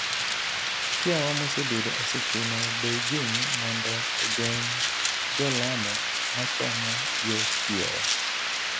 kiawa mosebedo osechuno Beijing' mondo ogeng' jolamo machomo yo kiewo.